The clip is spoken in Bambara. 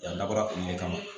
Yan dabɔra olu de kama